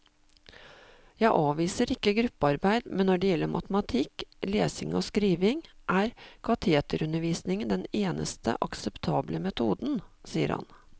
Jeg avviser ikke gruppearbeid, men når det gjelder matematikk, lesing og skriving, er kateterundervisning den eneste akseptable metoden, sier han.